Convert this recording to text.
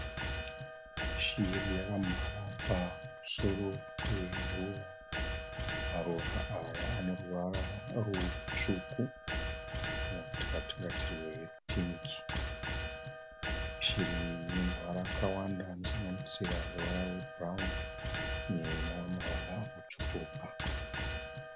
Shiri yakamhara pamusoro peruva. Maruva aya aneruvara rutsvuku kana kuti rwatingati rwepingi. Shiri iyi inemavara akawanda anosanganisira ruvara rwebhurauni nemamwe mavara akatsvukuruka.